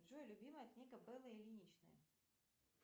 джой любимая книга беллы ильиничны